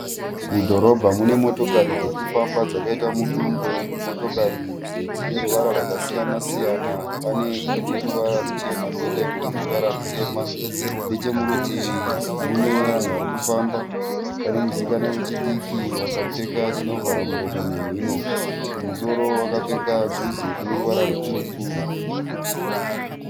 Mudhorobha mune motokari dzirikufamba dzakaita mudungwe, motkari iri dzine ruvara rwakasiyana siyana, pane ine ruvara rwuchena, koita imwe ine ruvara rwutema, nechemurutivi mune vanhu varikufamba, pane musikana wechidiki wakapfeka chinovhara muromo nemhino, kumusoro wakapfeka juzi rine ruvara rutsvuku.